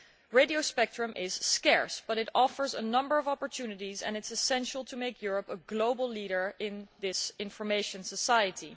Radio spectrum is scarce but it offers a number of opportunities and it is essential to make Europe a global leader in this information society.